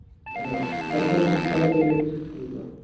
हं तरी पन खूप झन गेलेच